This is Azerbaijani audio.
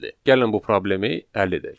Gəlin bu problemi həll edək.